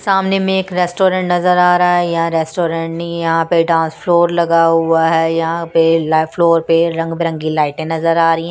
सामने में एक रेस्टोरेंट नजर आ रहा है यह रेस्टोरेंट नहीं यहाँ पे डांस फ्लोर लगा हुआ है यहाँ पे फ्लोर पे रंग बिरंगी लाइटें नजर आ रही हैं।